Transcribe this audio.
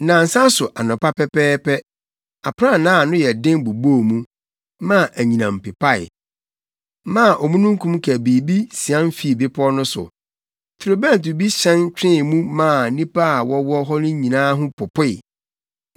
Nnansa so anɔpa pɛpɛɛpɛ, aprannaa a ano yɛ den bobɔɔ mu, maa anyinam pepae, maa omununkum kabii bi sian fii bepɔw no so. Torobɛnto bi hyɛn twee mu maa nnipa a wɔwɔ hɔ no nyinaa ho popoe.